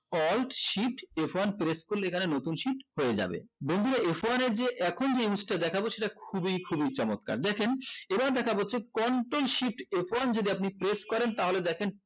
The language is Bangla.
alt shift f one press করলে এখানে নতুন shift হয়ে যাবে বন্ধুরা f one এর যে এখন যেই জিনিসটা দেখাব সেটা খুবই খুবই চমৎকার দেখেন এবার দেখা হচ্ছে control shift f one যেটা আপনি press করেন তাহলে দেখেন